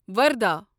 وردھا